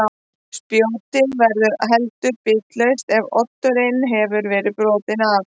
Spjótið verður heldur bitlaust ef oddurinn hefur verið brotinn af.